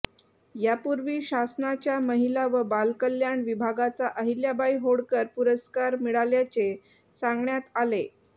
यापूर्वी शासनाच्या महिला व बालकल्याण विभागाचा अहिल्याबाई होळकर पुरस्कार मिळाल्याचे सांगण्यात आले